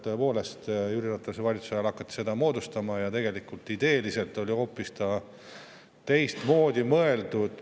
Tõepoolest, Jüri Ratase valitsuse ajal hakati seda moodustama ja tegelikult ideeliselt oli see hoopis teistmoodi mõeldud.